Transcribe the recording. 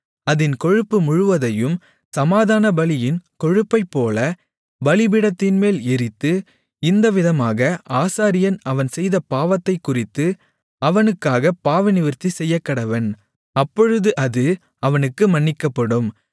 அதின் கொழுப்பு முழுவதையும் சமாதானபலியின் கொழுப்பைப்போல பலிபீடத்தின்மேல் எரித்து இந்தவிதமாக ஆசாரியன் அவன் செய்த பாவத்தைக்குறித்து அவனுக்காகப் பாவநிவிர்த்தி செய்யக்கடவன் அப்பொழுது அது அவனுக்கு மன்னிக்கப்படும்